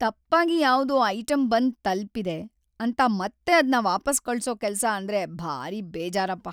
ತಪ್ಪಾಗಿ ಯಾವ್ದೋ ಐಟಮ್‌ ಬಂದ್ ತಲ್ಪಿದೆ ಅಂತ ಮತ್ತೆ ಅದ್ನ ವಾಪಾಸ್‌ ಕಳ್ಸೋ ಕೆಲ್ಸ ಅಂದ್ರೆ ಭಾರೀ ಬೇಜಾರಪ್ಪ.